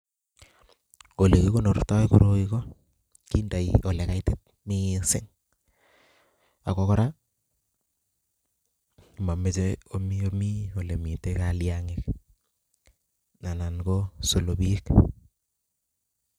Ole kikonortoi koroi ko kindoi ole kaitit missing, ago kora mameche omi omii ole mitei kaliangik anan ko solopiik